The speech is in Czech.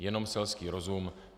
Jenom selský rozum.